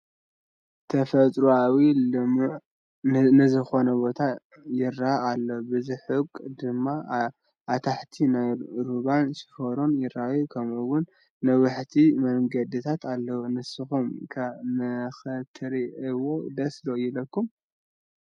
ተፈጥራኣዊን ልሙዕን ንዝኾነን ቦታ ይራኣይ ኣሎ፡፡ ብርሑቕ ድማ ኣታሕት ናይ ሩባን ሽንሮን ይረአ ከምኡ ውን ነዋሕቲ መንገድታት ኣለው፡፡ ንስኹም ከ ንኽትሪእይዎ ደስ ዶ ይብለኩም?